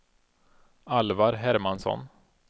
Alvar Hermansson